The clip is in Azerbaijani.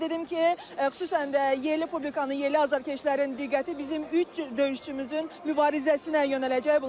Qeyd edim ki, xüsusən də yerli publikanın, yerli azarkeşlərin diqqəti bizim üç döyüşçümüzün mübarizəsinə yönələcək.